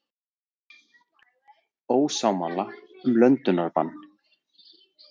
Ósammála um löndunarbann